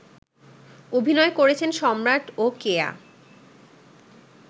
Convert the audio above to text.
অভিনয় করেছেন সম্রাট ও কেয়া